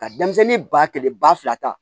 Ka denmisɛnnin ba kelen ba fila ta